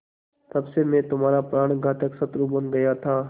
तब से मैं तुम्हारा प्राणघातक शत्रु बन गया था